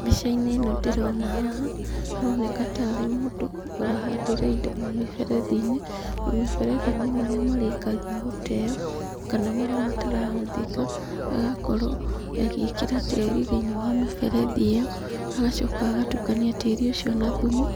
Mbicaini ĩno ndĩrona haha haroneka tarĩ mũndũ ũrahandĩra mamĩberethinĩ, mamĩberethinĩ marĩa marĩkagia gũteo kana marĩa matarabũthĩka agakorwo agĩkĩra tĩrinĩ wa mĩberethi ĩyo agacoka agatukania tĩri ũcio na thumu